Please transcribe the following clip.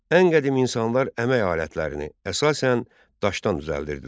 Ən qədim insanlar əmək alətlərini əsasən daşdan düzəldirdilər.